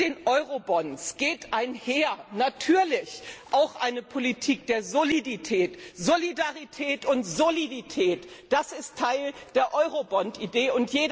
wird. Mit den Eurobonds geht natürlich auch eine Politik der Solidität einher Solidarität und Solidität, das ist Teil der Eurobonds